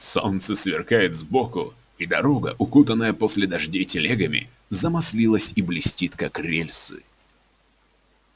солнце сверкает сбоку и дорога укутанная после дождей телегами замаслилась и блестит как рельсы